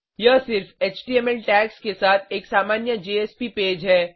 यह सिर्फ HTML tags के साथ एक सामान्य जेएसपी पेज है